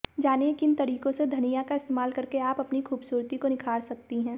जानिए किन तरीकों से धनिया का इस्तेमाल करके आप अपनी खूबसूरती को निखार सकती हैं